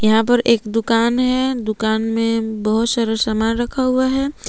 यहां पर एक दुकान है दुकान में बहुत सारा सामान रखा हुआ है।